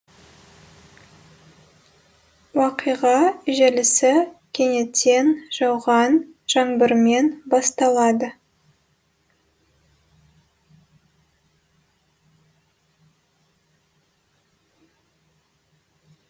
уақиға желісі кенеттен жауған жаңбырмен басталады